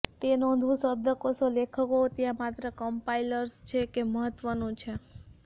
તે નોંધવું શબ્દકોશો લેખકો ત્યાં માત્ર કમ્પાઇલર્સ છે કે મહત્વનું છે